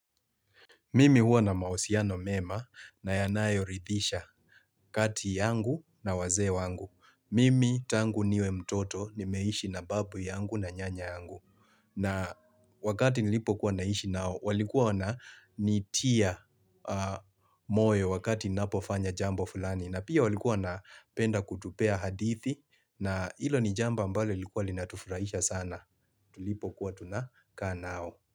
Mimi huwa na mausiano mema na yanayo ridhisha kati yangu na wazee wangu. Mimi tangu niwe mtoto nimeishi na babu yangu na nyanya yangu. Na wakati nilipo kuwa naishi nao, walikuwa na nitia moyo wakati napofanya jambo fulani. Na pia walikuwa na penda kutupea hadithi na ilo nijambo mbalo likuwa linatufurahisha sana. Tulipo kuwa tunaka nao.